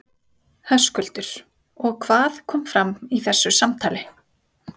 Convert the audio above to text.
Höskuldur: Og hvað kom fram í þessu samtali?